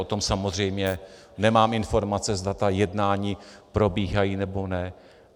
O tom samozřejmě nemám informace, zda ta jednání probíhají, nebo ne.